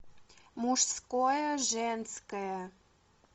мужское женское